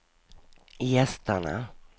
gästerna